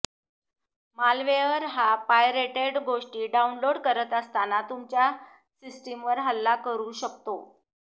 malware हा pirated गोष्टी download करत असताना तुमच्या सिस्टिमवर हल्ला करू शकतो